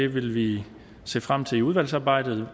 vil vi se frem til i udvalgsarbejdet